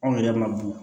Anw yɛrɛ ma du